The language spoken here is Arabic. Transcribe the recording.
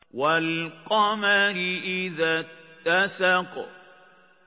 وَالْقَمَرِ إِذَا اتَّسَقَ